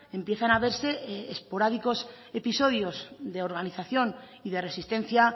empiezan a verse esporádicos episodios de organización y de resistencia